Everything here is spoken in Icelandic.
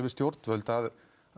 stjórnvöld að